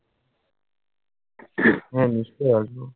হ্যাঁ, নিশ্চয়ই আসবো।